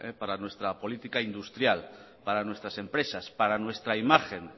para nuestra política industrial para nuestras empresas para nuestra imagen